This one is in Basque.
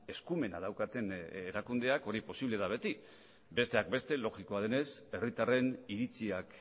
eskumena daukaten erakundeak hori posible da beti besteak beste logikoa denez herritarren iritziak